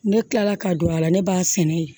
Ne kilala ka don a la ne b'a sɛnɛ yen